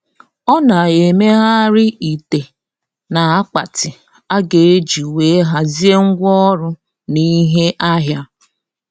Ọ na-emegharị ite na akpati a ga-eji wee hazie ngwa ọrụ na ihe ahịa.